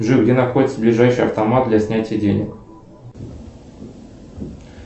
джой где находится ближайший автомат для снятия денег